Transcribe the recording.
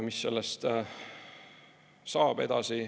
Mis sellest saab edasi?